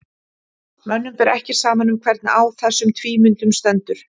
mönnum ber ekki saman um hvernig á þessum tvímyndum stendur